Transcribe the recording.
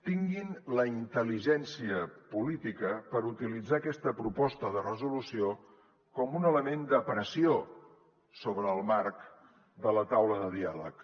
tinguin la intel·ligència política per utilitzar aquesta proposta de resolució com un element de pressió sobre el marc de la taula de diàleg